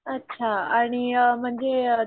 अच्छा आणि म्हणजे अ